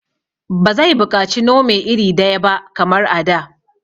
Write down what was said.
Ba zai buƙaci Nome iri daya ba kamar a da